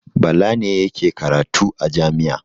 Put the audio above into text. Bala ne yake karatu a jami'a.